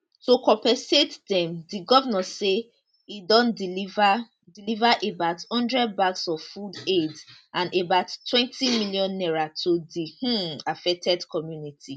to compensat dem di govnor say e don deliver deliver about one hundred bags of food aid and abouttwentymillion naira to di um affected community